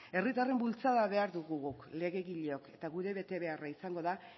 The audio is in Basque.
herritarren bultzada behar dugu guk legegileok eta gure betebeharra izango da